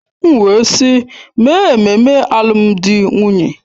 M wee sị, mee ememme alụmdi na nwunye!